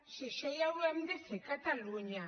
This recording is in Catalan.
si això ja ho hem de fer a catalunya